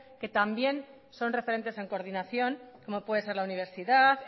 que también son referentes en coordinación como pueden ser la universidad